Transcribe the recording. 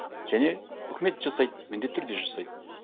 және үкімет жасайды міндетті түрде жасайды